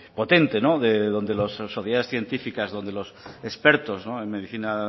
potente donde las sociedades científicas donde los expertos en medicina